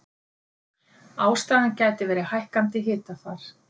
Ástæðan gæti verið hækkandi hitafar